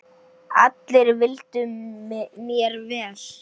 Allir vildu mér vel.